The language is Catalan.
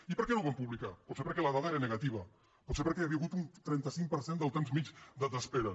i per què no ho van publicar potser perquè la dada era negativa potser perquè hi havia hagut un trenta cinc per cent del temps mitjà d’espera